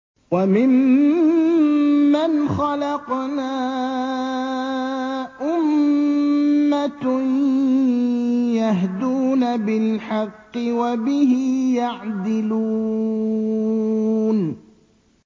وَمِمَّنْ خَلَقْنَا أُمَّةٌ يَهْدُونَ بِالْحَقِّ وَبِهِ يَعْدِلُونَ